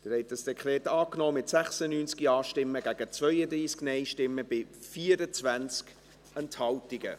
Sie haben dieses Dekret angenommen, mit 96 Ja- gegen 32 Nein-Stimmen bei 24 Enthaltungen.